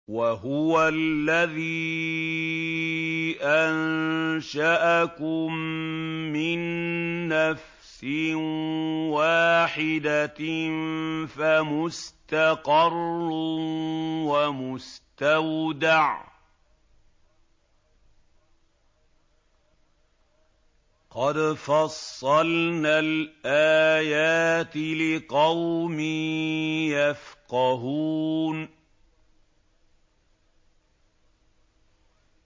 وَهُوَ الَّذِي أَنشَأَكُم مِّن نَّفْسٍ وَاحِدَةٍ فَمُسْتَقَرٌّ وَمُسْتَوْدَعٌ ۗ قَدْ فَصَّلْنَا الْآيَاتِ لِقَوْمٍ يَفْقَهُونَ